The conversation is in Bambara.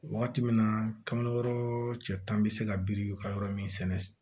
Wagati min na kamero yɔrɔ cɛ tan bi se ka biriki ka yɔrɔ min sɛnɛ